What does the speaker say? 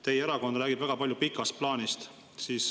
Teie erakond räägib väga palju pikast plaanist.